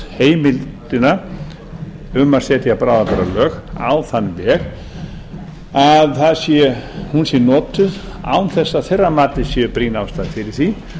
heimildina um að setja bráðabirgðalög á þann veg að hún sé notuð án þess að að þeirra mati sé brýn ástæða fyrir því